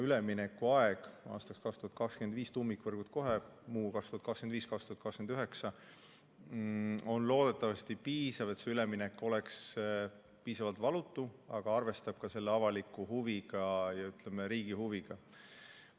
Üleminekuaeg aastaks 2025 tähendab, et tuumikvõrgud kohe, muu 2025–2029, ja see on loodetavasti piisav, et üleminek oleks piisavalt valutu, aga arvestaks ka avaliku ja riigi huviga.